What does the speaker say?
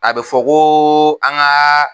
A bɛ fɔ ko an ka